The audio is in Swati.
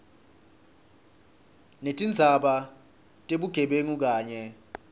netindzaba tebugebengu kanye